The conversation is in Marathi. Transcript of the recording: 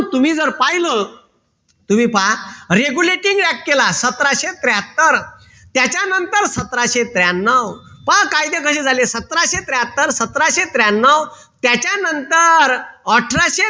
तुम्ही जर पाहिलं तुम्ही पहा regulating act केला सतराशे त्र्याहत्तर त्याच्यानंतर सतराशे त्र्यान्नव पहा कायदे कशे झाले सतराशे त्र्याहत्तर सतराशे त्र्यान्नव त्याच्यानंतर अठराशे